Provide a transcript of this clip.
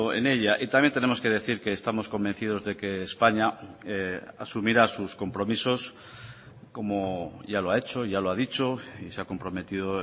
en ella y también tenemos que decir que estamos convencidos de que españa asumirá sus compromisos como ya lo ha hecho ya lo ha dicho y se ha comprometido